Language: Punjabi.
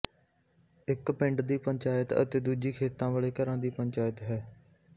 ਇੱਕ ਪਿੰਡ ਦੀ ਪੰਚਾਇਤ ਅਤੇ ਦੂਜੀ ਖੇਤਾਂ ਵਾਲੇ ਘਰਾਂ ਦੀ ਪੰਚਾਇਤ ਹੈ